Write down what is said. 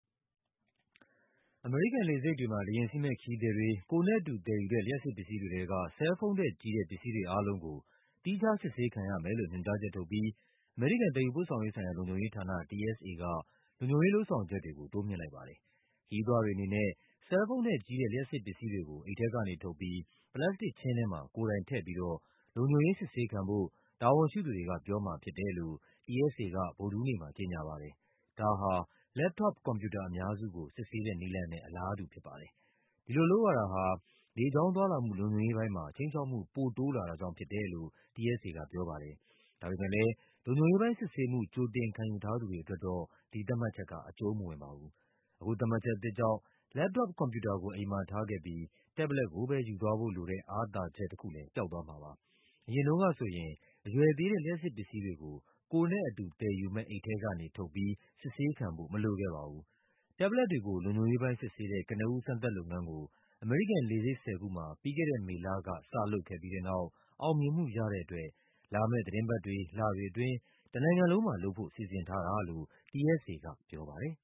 အမေရိကန် လေဆိပ်တွေမှာ လေယာဉ်စီးမယ့် ခရီးသည်တွေ ကိုယ်နဲ့အတူ သယ်ယူတဲ့ လျှပ်စစ်ပစ္စည်းတွေထဲက ဆဲလ်ဖုန်းထက် ကြီးတဲ့ ပစ္စည်းတွေအားလုံးကို သီးခြား စစ်ဆေးခံရမယ်လို့ညွှန်ကြားချက် ထုတ်ပြီး အမေရိကန် သယ်ယူပို့ဆောင်ရေး ဆိုင်ရာ လုံခြုံရေးဌာန TSA က လုံခြုံရေး လုပ်ဆောင်ချက်တွေကို တိုးမြှင့်လိုက်ပါတယ်။ ခရီးသွားတွေ အနေနဲ့ ဆဲလ်ဖုန်းထက်ကြီးတဲ့ လျှပ်စစ်ပစ္စည်းတွေကို အိတ်ထဲကနေ ထုတ်ပြီး ပလတ်စတစ်ခြင်းထဲမှာ ကိုယ်တိုင် ထည့်ပြီးတော့ လုံခြုံရေး စစ်ဆေးခံဖို့ တာဝန်ရှိသူတွေက ပြောမှာဖြစ်တယ်လို့ TSA က ဗုဒ္ဓဟူးနေ့မှာ ကြေညာပါတယ်။ ဒါဟာ လက်ပ်တော့ပ် ကွန်ပြူတာ အများစုကို စစ်ဆေးတဲ့ နည်းလမ်းနဲ့ အလားတူ ဖြစ်ပါတယ်။ ဒီလိုလုပ်ရတာဟာ လေကြောင်းသွားလာမှု လုံခြုံရေးပိုင်းမှာ ခြိမ်းခြောက်မှု ပိုတိုးလာတာကြောင့် ဖြစ်တယ်လို့ TSA က ပြောပါ တယ်။ ဒါပေမယ့်လည်း လုံခြုံရေးပိုင်း စစ်ဆေးမှု ကြိုတင်ခံယူ ထားသူတွေ အတွက်တော့ ဒီသတ်မှတ်ချက်က အကျူံးမဝင်ပါဘူး။ အခု သတ်မှတ်ချက် အသစ်ကြောင့် လက်ပ်တော့ပ် ကွန်ပြူတာကို အိမ်မှာထားခဲ့ပြီး တက်ဘ်လက်တ်ကိုပဲ ယူသွားဖို့လိုတဲ့ အားသာ ချက်တခုလည်း ပျောက်သွားမှာပါ။ အရင်တုန်းကဆိုရင် အရွယ်သေးတဲ့ လျှပ်စစ်ပစ္စည်းတွေကို ကိုယ်နဲ့အတူ သယ်ယူမယ့် အိတ်ထဲက နေ ထုတ်ပြီး စစ်ဆေးခံဖို့ မလိုခဲ့ပါဘူး။ တက်ဘ်လက်တ်တွေကို လုံခြုံရေးပိုင်း စစ်ဆေးတဲ့ ကနဦး စမ်းသပ်လုပ်ငန်းကို အမေရိကန် လေဆိပ် ၁၀ ခုမှာ ပြီးခဲ့တဲ့ မေလက စလုပ်ခဲ့ ပြီးတဲ့နောက် အောင်မြင်မှု ရတဲ့အတွက် လာမယ့်သီတင်းပတ်တွေ၊ လတွေအတွင်း တနိုင်ငံလုံးမှာ လုပ်ဖို့ စီစဉ်ထားတာလို့ TSA က ပြောပါတယ်